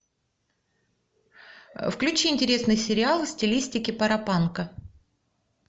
включи интересный сериал в стилистике паропанка